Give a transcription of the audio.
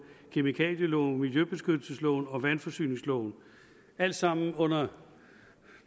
kemikalieloven miljøbeskyttelsesloven og vandforsyningsloven alt sammen under